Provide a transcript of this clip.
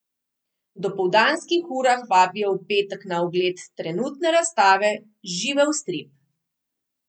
V dopoldanskih urah vabijo v petek na ogled trenutne razstave Živel strip!